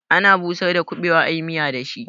Ana busar da kubewa ayi miya da shi.